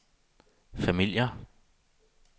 familier